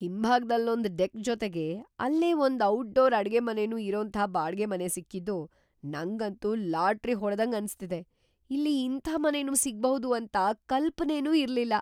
ಹಿಂಭಾಗ್ದಲ್ಲೊಂದ್ deck ಜೊತೆಗೆ ಅಲ್ಲೇ ಒಂದ್‌ ಔಟ್‌ಡೋರ್ ಅಡ್ಗೆಮನೆನೂ ಇರೋಂಥ ಬಾಡ್ಗೆ ಮನೆ ಸಿಕ್ಕಿದ್ದು ನಂಗಂತೂ ಲಾಟ್ರಿ ಹೊಡ್ದಂಗ್‌ ಅನ್ಸ್ತಿದೆ, ಇಲ್ಲಿ ಇಂಥ ಮನೆನೂ ಸಿಗ್ಬಹುದು ಅಂತ ಕಲ್ಪನೆನೂ ಇರ್ಲಿಲ್ಲ.